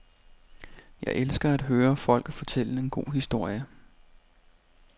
Jeg elsker at høre folk fortælle en god historie.